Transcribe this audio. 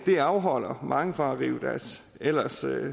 det afholder mange fra at rive deres ellers